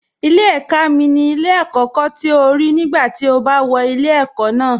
Ilé ẹ̀ka mi ni ilé àkọ́kọ́ tí o rí nígbà tí o bá wọ ilé ẹ̀kọ́ ná